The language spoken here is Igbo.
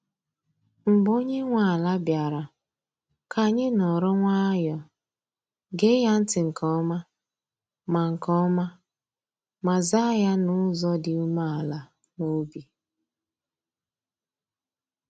Mgbe onye nwe ala bịara, ka anyị nọrọ nwayọọ, gee ya ntị nke ọma, ma nke ọma, ma zaa ya n’ụzọ dị umeala n’obi.